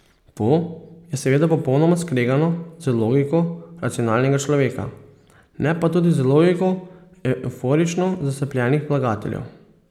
To je seveda popolnoma skregano z logiko racionalnega človeka, ne pa tudi z logiko evforično zaslepljenih vlagateljev.